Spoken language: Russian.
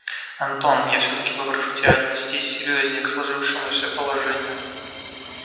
антон я всё-таки попрошу тебя отнестись серьёзнее к сложившемуся положению